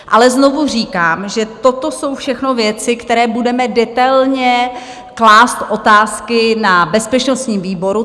Ale znovu říkám, že toto jsou všechno věci, které budeme detailně klást otázky na bezpečnostním výboru.